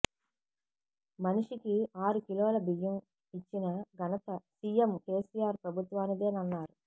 మనిషికి ఆరు కిలోల బియ్యం ఇచ్చిన ఘనత సీఎం కేసీఆర్ ప్రభుత్వానిదేనన్నారు